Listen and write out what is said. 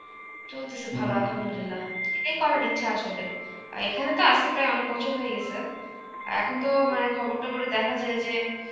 চলতেছে ভালো Arbi . এটাই করার ইচ্ছা আসলে. আর এখানে তো আছি প্রায় অনেক বছর হয়ে গেছে, এখন তো মানে খবর টবরে দেখা যায় যে